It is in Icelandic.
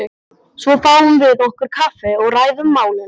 Svo fáum við okkur kaffi og ræðum málin.